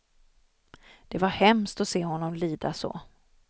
Det var hemskt att se honom lida så.